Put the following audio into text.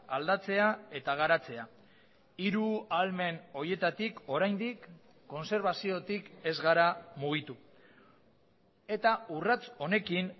aldatzea eta garatzea hiru ahalmen horietatik oraindik kontserbaziotik ez gara mugitu eta urrats honekin